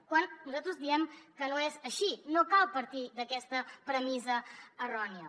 quan nosaltres diem que no és així no cal partir d’aquesta premissa errònia